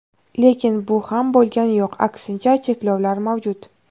Lekin bu ham bo‘lgani yo‘q, aksincha, cheklovlar mavjud.